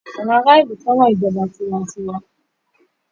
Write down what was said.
àwọn ara ilú féràn ìjọba tiwantiwa.